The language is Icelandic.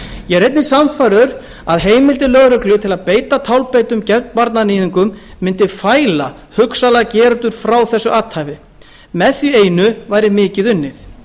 einnig sannfærður um að heimildir lögreglu til að beita tálbeitum gegn barnaníðingum mundi fæla hugsanlega gerendur frá þessu athæfi með því einu væri mikið unnið